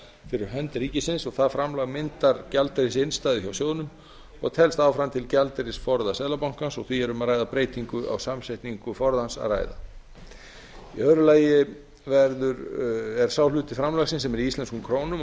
fyrir hönd ríkisins og það framlag myndar gjaldeyrisinnstæðu hjá sjóðnum og telst áfram gjaldeyrisforða seðlabankans og því er um að ræða breytingu á samsetningu forðans að ræða í þriðja lagi er sá hluti framlagsins sem er í íslenskum krónum